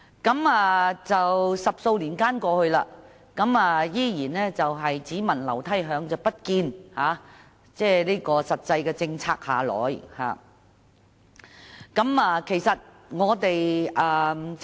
可是 ，10 多年過去，我們依然是"只聞樓梯響，不見有實際的政策下來"。